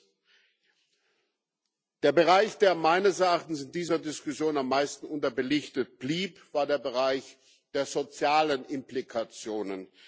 Viertens Der Bereich, der meines Erachtens in dieser Diskussion am meisten unterbelichtet blieb, war der Bereich der sozialen Implikationen.